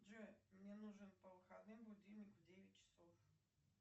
джой мне нужен по выходным будильник в девять часов